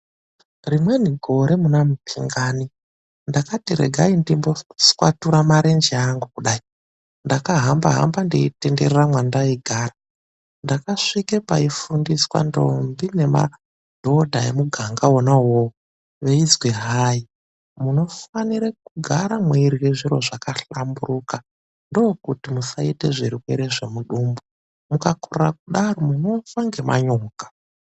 Rimweni gore muna muphingani, ndakati regai ndimboswatura marenje angu kudai. Ndakahamba-hamba, ndeitenderera mwendaigara. Ndakasvika paifundiswa ndombi nemadhodha emuganga wona uwowo, veizwi hai munofanire kugara mweirye zviro zvakahlamburuka. Ndiko kuti musaite zvirwere zvemudumbu. Mukakorere kudaro munofa ngemanyoka.